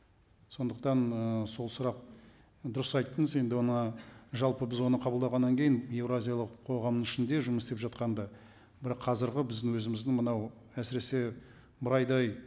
сондықтан ы сол сұрақ дұрыс айттыңыз енді оны жалпы біз оны қабылдағаннан кейін еуразиялық қоғамның ішінде жұмыс істеп жатқанда бір қазіргі біздің өзіміздің мынау әсіресе бір айдай